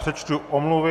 Přečtu omluvy.